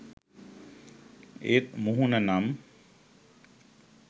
ඒත් මුහුණ නම්